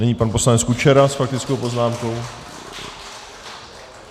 Nyní pan poslanec Kučera s faktickou poznámkou.